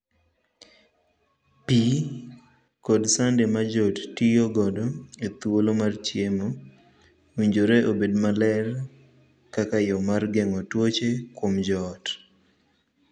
Pii kod sande ma joot tiyo godo ethuolo mar chiemo owinjore obed maler kaka yoo mar geng'o tuoche kuom joot.